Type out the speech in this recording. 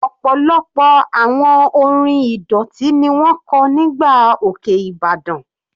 Ọ̀pọ̀lọpọ̀ àwọn orin ìdọ̀tí ni wọ́n kọ́ nígbà òkè ìbàdàn.